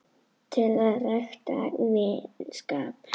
til að rækta vinskap